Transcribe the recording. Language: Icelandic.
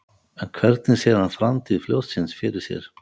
En hvernig sér hann framtíð fljótsins fyrir sér?